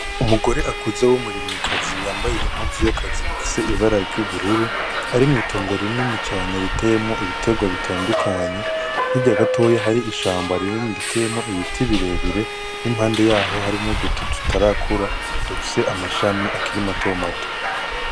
Umugore akuze w'umurimyikazi yambaye impozu y'akazi ifise ibara ry'ubururu arimwo itongore ineni cane ritemo ibiterwa bitandukanye hiryagatoya hari ishambo arineni ritemo ibiti birebire n'impande yaho hari no duti dutarakura dufise amashami akirimato mato.